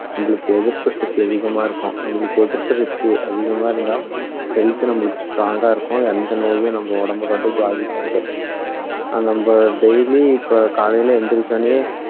நம்மளுக்கு எதிர்ப்பு சக்தி அதிகமா இருக்கும் நம்மளுக்கு எதிர்ப்பு சக்தி அதிகமா இருந்தா health நம்மளுக்கு strong ஆ இருக்கும் எந்த நோயும் நம்ம உடம்ப வந்து பாதிக்காது நம்ம daily இப்போ காலைல எழுந்திரிச்ச உடனேயே